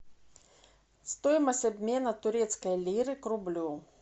стоимость обмена турецкой лиры к рублю